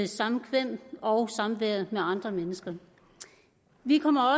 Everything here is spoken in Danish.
samkvem og samvær med andre mennesker vi kommer